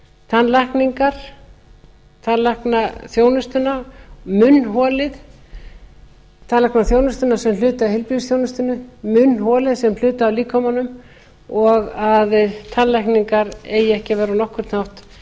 tannlækningar tannlæknaþjónustuna munnholið tannlæknaþjónustuna sem hluta af heilbrigðisþjónustunni munnholið sem hluta af líkamanum og að tannlækningar eigi ekki að vera á nokkurn